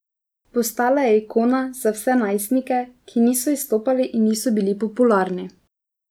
Postala je ikona za vse najstnike, ki niso izstopali in niso bili popularni.